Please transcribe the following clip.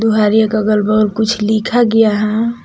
घर के अगल बगल कुछ लिखा गया है।